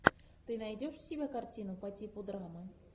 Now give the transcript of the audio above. ты найдешь у себя картину по типу драмы